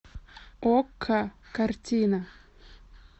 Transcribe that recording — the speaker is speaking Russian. окко картина